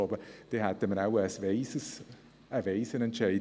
Das wäre ein weiser Entscheid.